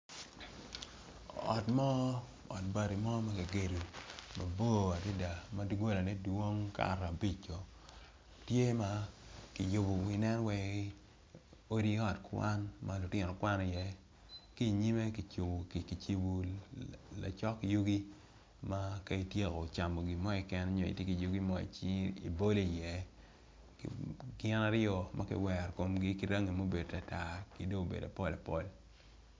Ot mo ot bati mo makigedo mabor adada madogola ne dwong kato abico tye ma kiyubo nen wai ot kwan ma lutino kwano i ye kinyime kicibo lacok yugi ma ka ityeko camo gimo keken nyo itye ki yugi mo i cingi i bolo iye gin aryo makiwero komgi kiryangi ma obedo tartar kidong obedo pol pol.